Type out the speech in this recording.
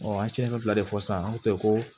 an cɛ ka fila de fɔ sisan ko tɛ ko